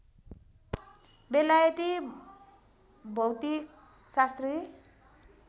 बेलायती भौतिकशास्त्री